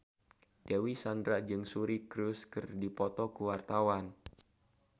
Dewi Sandra jeung Suri Cruise keur dipoto ku wartawan